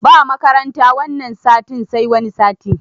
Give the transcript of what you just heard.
Ba makaranta wanan satin sai wani sati